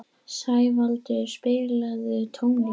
Sævaldur, spilaðu tónlist.